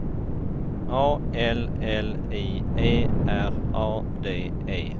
A L L I E R A D E